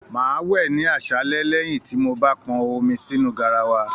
Máa wẹ ní aṣálẹ lẹyìn tí mó bá pọn omi sínú garawa.